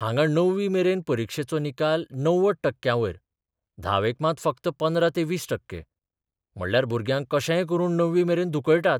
हांगां णवी मेरेन परिक्षेचो निकाल 90 टक्क्यांवयर धावेक मात फकत 15 ते 20 टक्के म्हणल्यार भुरग्यांक कशेय करून णवी मेरेन 'धुकळटात.